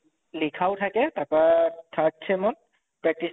লিখাও থাকে তাৰ পা third sem ত